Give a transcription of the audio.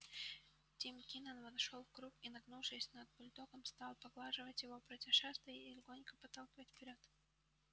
тим кинен вошёл в круг и нагнувшись над бульдогом стал поглаживать его против шерсти и легонько подталкивать вперёд